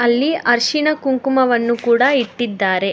ಅಲ್ಲಿ ಅರಿಶಿಣ ಕುಂಕುಮವನ್ನು ಕೂಡ ಇಟ್ಟಿದ್ದಾರೆ.